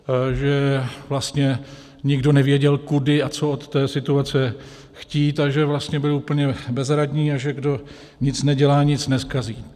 Že vlastně nikdo nevěděl, kudy a co od té situace chtít, a že vlastně byli úplně bezradní a že kdo nic nedělá, nic nezkazí.